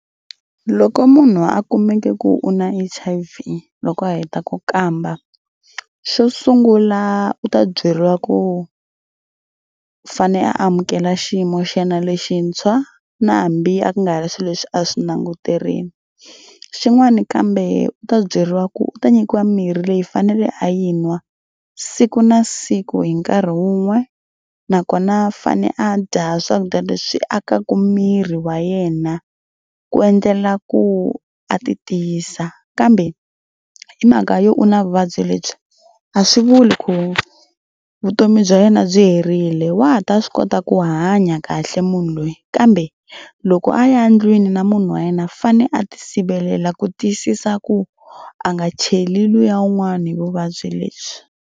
Loko munhu a kumeke ku u na H_I_V loko a heta ku kamba. Xo sungula u ta byeriwa ku fanele a amukela xiyimo xana lexintshwa na hambi a ku nga ri swilo leswi a swi languterile. Xin'wana kambe u ta byeriwa ku u ta nyikiwa mirhi leyi fanele a yi nwa siku na siku hi nkarhi wun'we nakona a fane a dya swakudya leswi akaka miri wa yena ku endlela ku a ti tiyisa kambe hi mhaka yo u na vuvabyi lebyi a swi vuli ku vutomi bya yena byi herile wa ha ta swi kota ku hanya kahle munhu loyi kambe loko a ya ndlwini na munhu wa yena fane a ti sivelela ku tiyisisa ku a nga cheli luya un'wana hi vuvabyi lebyi.